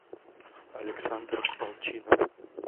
александр волчинов